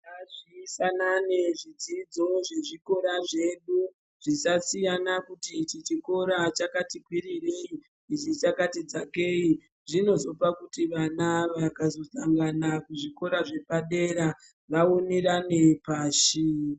Ngazvifanane zvidzidzo zvezvikora zvedu zvisasiyana kuti ichinchikora chakati kwitirei ichi chakati dzakei zvinozopa kuti vana vakazodzangana kuzvikora zvepadera vaonerane pashi.